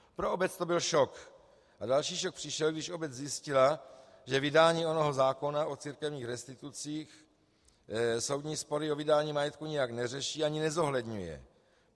Pro obec to byl šok a další šok přišel, když obec zjistila, že vydání onoho zákona o církevních restitucích soudní spory o vydání majetku nijak neřeší ani nezohledňuje.